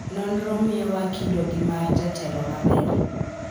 nonro miyo wa kido gi mar jatelo maber